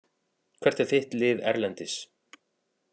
Hvert er þitt lið erlendis?